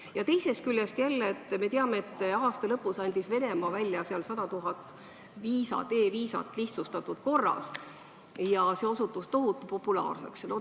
Ja teiseks: me teame, et aasta lõpus andis Venemaa välja 100 000 e-viisat lihtsustatud korras ja see osutus tohutu populaarseks.